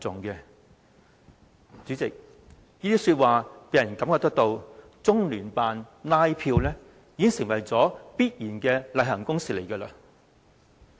代理主席，這些說話令人覺得，中聯辦拉票已經成為必然的例行公事。